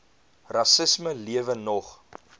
rassisme lewe nog